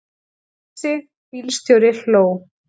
Jónsi bílstjóri hló.